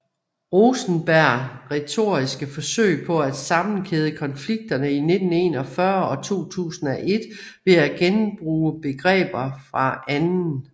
Rosenberg retoriske forsøg på at sammenhæde konflikterne i 1941 og 2001 ved at genbruge begreber fra 2